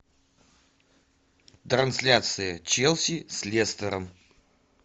трансляция челси с лестером